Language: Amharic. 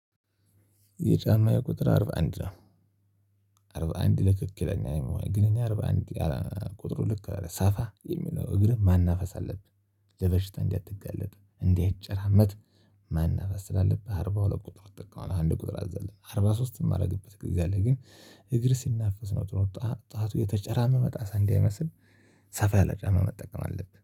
የጫማዬ ቁጥር አርባ አንድ ነው። አርባ አንድ ትክክለኛ ግን እኔ አርባ አንድ ቁጥሩ ልክ ሳፋ የሚለው እግርህ ማናፈስ አለብህ። ለበሽታ እንዳትጋለጥ እንዳይጨራመት። ማናፈስ ስላለብህ ስላለብህ አርባ ሁለት ቁጥር አዘለለን አርባ ሦስትም አደረገበት። ግን እግር ሲናፍስ ነው ጥሩ ጣቱ የተጨራመመ ጣት እንዳይመስል። ሰፋ ያለ ጫማ መጠቀም አለብህ